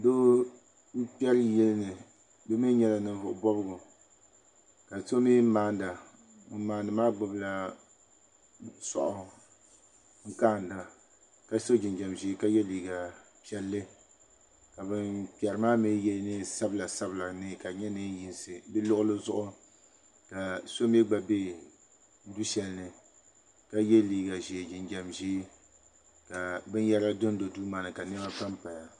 Niriba n kperi yiyani ka so mee maana ŋun maani maa gbibila soaɣu n kaana ka so jinjiɛm ʒee ka ye liiga piɛlli ka ban kperi maa mee ye niɛn sabila sabila ka di nyɛ niɛn'yinsi di luɣuli zuɣu ka so mee gba be du shelini ka ye liiga ʒee jinjiɛm ʒee ka binyɛra dondo duu maani ka niɛma pampaya.